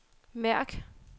mærk